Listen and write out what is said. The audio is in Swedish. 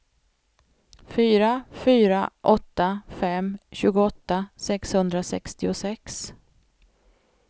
fyra fyra åtta fem tjugoåtta sexhundrasextiosex